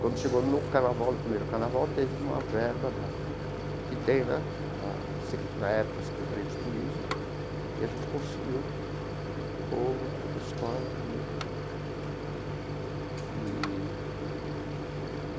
Quando chegou no carnaval no primeiro carnaval, teve uma verba da que tem né, da se na época, a Secretaria de Turismo, e a gente conseguiu pôr a escola na avenida eee.